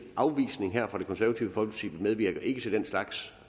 afvisning af forslaget fra det konservative folkeparti vi medvirker ikke til den slags